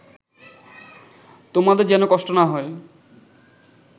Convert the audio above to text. তোমাদের যেন কষ্ট না হয়